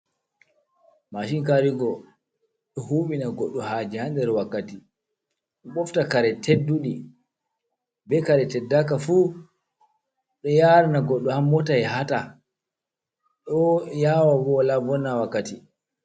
Machin Karigo: Ɗo huɓina goɗɗo haje ha nder wakkati, ɓofta kare tedduɗi be kare teddaka fu, ɗo yarana goɗɗo ha mota ya hata, ɗo yawa bo wola vonna wakkati.